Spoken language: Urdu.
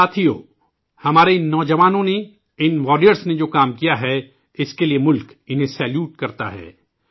ساتھیو، ہمارے ان جوانوں نے، ان واریئرز نے جو کام کیا ہے، اسکے لیے ملک انہیں سلام کرتا ہے